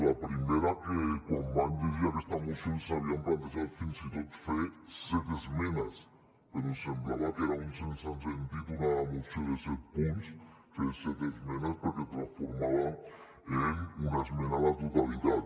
la primera que quan vam llegir aquesta moció ens havíem plantejat fer fins i tot fer set esmenes però ens semblava que era un sense sentit en una moció de set punts fer set esmenes perquè la transformàvem en una esmena a la totalitat